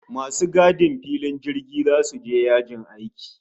Masu gadin filin jirgi zasu je yajin aiki